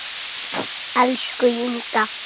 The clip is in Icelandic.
Elsku Inga.